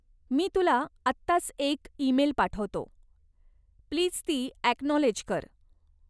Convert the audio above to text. मी तुला आत्ताच एक ईमेल पाठवतो. प्लीज ती अॅकनॉलेज कर.